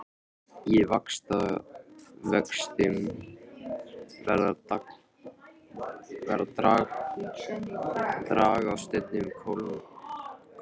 Í vatnavöxtum verða dragár stundum kolmórauðar.